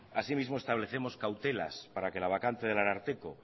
así mismo establecemos cautelas para que la vacante del ararteko